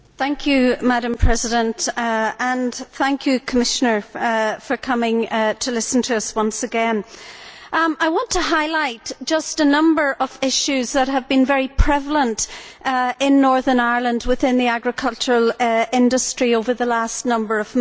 Madam President, I would like to thank the Commissioner for coming to listen to us once again, and I want to highlight just a number of issues which have been very prevalent in Northern Ireland within the agricultural industry over the last number of months.